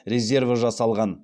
резерві жасалған